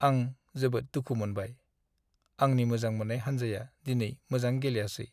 आं जोबोद दुखु मोनबाय - आंनि मोजां मोन्नाय हानजाया दिनै मोजां गेलेयासै।